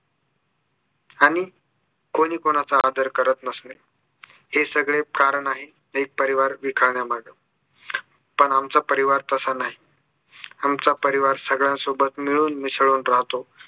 आणि कोणी कुणाचा आदर करत नसणे हे सगळे कारण आहे एक परिवार पण आमचा परिवार तसा नाही आमचा परिवार सगळ्यांसोबत मिळून मिसळून राहतो